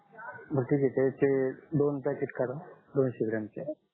बर ठीक आहे त्याचे दोन पॅकेट करा दोनसे ग्रॉमचे